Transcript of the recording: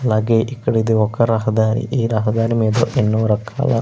అలాగే ఇక్కడ ఇది ఒక రహదారి ఈ రహదారి మీద ఎన్నో రకాల --